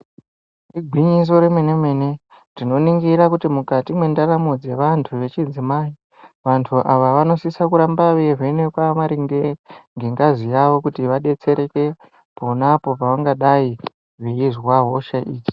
Igwinyiso remene- mene tinoningira kuti mukati mwendaramo dzevantu vemadzimai , vantu ava vanosisa kuramba veeivhenekwa maringe ngengazi yavo ,kuti vadetsereke ponapo pavangadai veizwa hosha iyi.